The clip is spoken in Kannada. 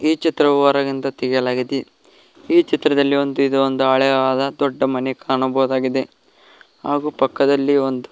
ಈ ಚಿತ್ರವು ಹೊರಗಿಂದ ತೆಗೆಲಾಯಗಿದೆ ಈ ಚಿತ್ರದಲ್ಲಿ ಒಂದು ಇದೊಂದು ಹಳೆಯಾದ ದೊಡ್ಡ ಮನೆ ಕಾಣಬಹುದಾಗಿದೆ ಹಾಗು ಪಕ್ಕದಲ್ಲಿ ಒಂದು--